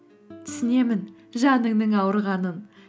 түсінемін жаныңның ауырғанын